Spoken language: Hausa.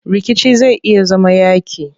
Rikici zai iya zama yaaƙi.